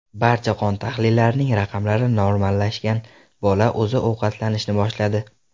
Barcha qon tahlillarining raqamlari normallashgan, bola o‘zi ovqatlanishni boshladi.